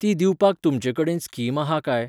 तीं दिवपाक तुमचे कडेन स्कीम आहा काय